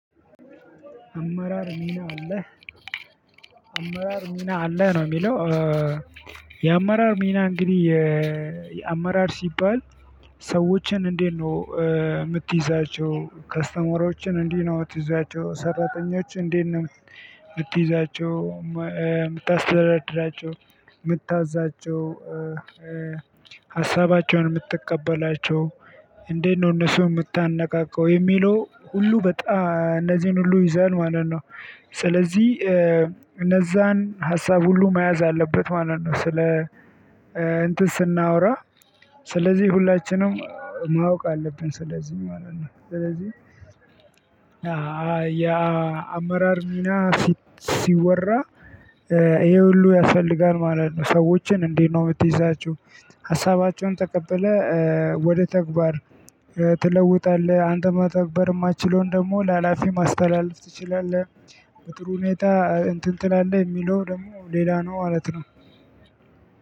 አመራር ሚና አለህ ነው የሚለው? የአመራር ሚና እንግዲህ የአመራር ሲባል። ሰዎችን እንዴት ነው? የምትይዛቸው ከስተመሮችን እንዲህ ነው የምትይዛቸው ሰራተኞች እንዴት ነው? የምትይዛቸው የምታስተዳድራቸው የምታዛቸው። ሀሳባቸውን የምትቀበላቸው እንዴት ነው? እነሱ የምታነቃቀው የሚለው ሁሉ በጣም እነዚህን ሁሉ ይዛል ማለት ነው። ስለዚህ እነዛን ሀሳብ ሁሉ መያዝ አለበት ማለት ነው። ስለ እንትን ስናወራ። ስለዚህ ሁላችንም ማወቅ አለብን ስለዚህ ማለት ነው። ስለዚህ ያ አመራር ሚና ሲወራ። ይሄ ሁሉ ያስፈልጋል ማለት ነው። ሰዎችን እንዴት ነው የምትይዛችሁ? ሀሳባቸውን ተቀብለህ ወደ ተግባር ትለውጣለህ አንተ መተግበር የማትችለውን ደግሞ ለሀላፊ ማስተላለፍ ትችላለህ። በጥሩ ሁኔታ እንትን ትላለህ የሚለው ደግሞ ሌላ ነው ማለት ነው።